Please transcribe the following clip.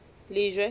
lejwe